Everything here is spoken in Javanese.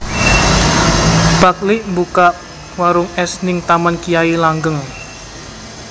Pak lik mbukak warung es ning Taman Kyai Langgeng